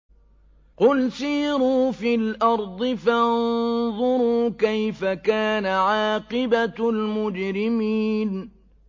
قُلْ سِيرُوا فِي الْأَرْضِ فَانظُرُوا كَيْفَ كَانَ عَاقِبَةُ الْمُجْرِمِينَ